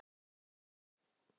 Deila þessu